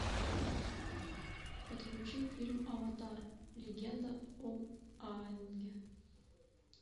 подключи фильм аватар легенда об аанге